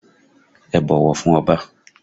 Ẹ bọ̀wọ̀ fún Ọba!